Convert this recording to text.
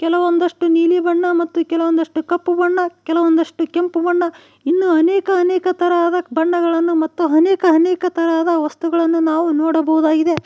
ಇನ್ನು ಒಂದಷ್ಟು ನೀಲಿ ಬಣ್ಣ ಮತ್ತು ಕೆಲವೊಂದಷ್ಟು ಕಪ್ಪು ಬಣ್ಣ ಕೆಲವೊಂದಷ್ಟು ಕೆಂಪು ಬಣ್ಣ ಇನ್ನೂ ಅನೇಕ ಅನೇಕ ತರಹದ ಬಣ್ಣಗಳನ್ನು ಮತ್ತು ಅನೇಕ ಅನೇಕ ತರಹದ ವಸ್ತುಗಳನ್ನು ನಾವು ನೋಡಬಹುದಾಗಿದೆ.